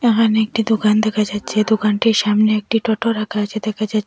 ওখানে একটি দোকান দেখা যাচ্ছে দোকানটির সামনে একটি টোটো রাখা আছে দেখা যা--